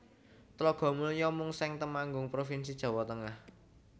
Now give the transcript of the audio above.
Tlogomulyo Mungseng Temanggung provinsi Jawa Tengah